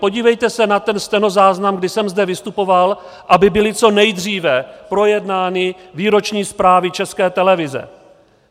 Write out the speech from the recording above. Podívejte se na ten stenozáznam, kdy jsem zde vystupoval, aby byly co nejdříve projednány výroční zprávy České televize.